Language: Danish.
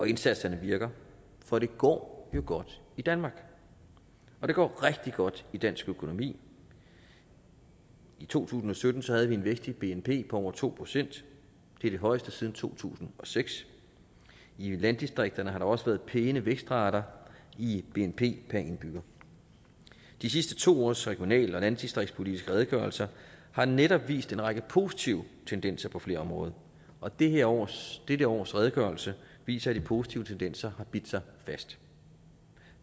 indsatserne virker for det går jo godt i danmark og det går rigtig godt i dansk økonomi i to tusind og sytten havde vi en vækst i bnp på over to procent det er det højeste siden to tusind og seks i landdistrikterne har der også været pæne vækstrater i bnp per indbygger de sidste to års regional og landdistriktspolitiske redegørelser har netop vist en række positive tendenser på flere områder og dette års dette års redegørelse viser at de positive tendenser har bidt sig fast